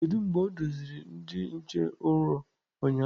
Kedu mgbe o doziri ndị nche ụrọ ụnyahụ?